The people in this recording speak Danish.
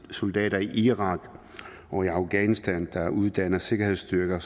soldater i irak og afghanistan der uddanner sikkerhedsstyrker